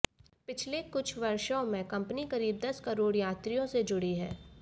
पिछले कुछ वर्षों में कंपनी करीब दस करोड़ यात्रियों से जुड़ी है